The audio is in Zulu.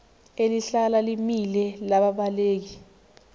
elihlala limile lababaleki